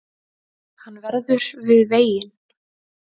Hann verður við veginn